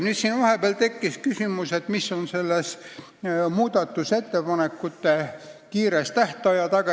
Siin tekkis vahepeal küsimus, mis on muudatusettepanekute esitamise lühikese tähtaja taga.